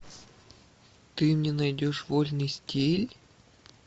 ты мне найдешь вольный стиль